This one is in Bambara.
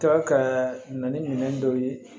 Tɔ ka na ni minɛn dɔw ye